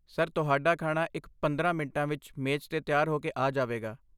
sir, ਤੁਹਾਡਾ ਖਾਣਾ ਇਕ ਪੰਦਰਾਂ ਮਿੰਟਾਂ ਵਿੱਚ ਮੇਜ਼ 'ਤੇ ਤਿਆਰ ਹੋ ਕੇ ਆ ਜਾਵੇਗਾ